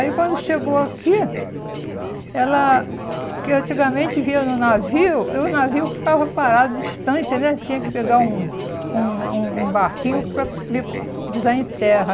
Aí, quando chegou aqui, ela, que antigamente via no navio, o navio ficava parado distante né, tinha que pegar um uma um um barquinho para vir pisar em terra.